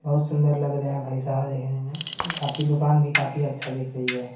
बहुत सुंदर लग रहे है भाई साहब दिखने में काफी दुकान भी काफी अच्छा दिख रही है।